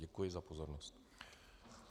Děkuji za pozornost.